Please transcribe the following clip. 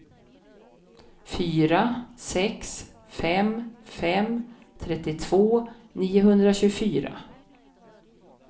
fyra sex fem fem trettiotvå niohundratjugofyra